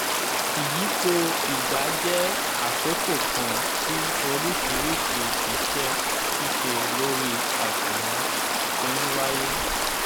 ìyípo ìgbà jẹ́ àkókò kan tí oríṣiríṣi ise sise lori àsùnwòn ti ńwáyé